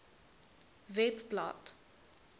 webblad